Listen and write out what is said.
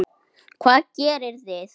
Hvað gerið þið?